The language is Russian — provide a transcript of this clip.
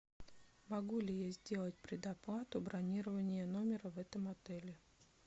могу ли я сделать предоплату бронирования номера в этом отеле